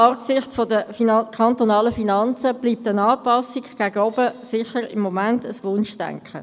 Angesichts der kantonalen Finanzen bleibt eine Anpassung nach oben im Moment sicher Wunschdenken.